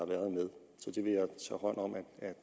været med så